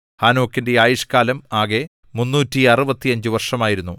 ഹാനോക്കിന്റെ ആയുഷ്കാലം ആകെ 365 വർഷമായിരുന്നു